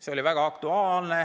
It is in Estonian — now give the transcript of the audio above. See oli väga aktuaalne.